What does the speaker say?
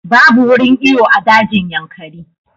Babu wurin iyo a dajin Yankari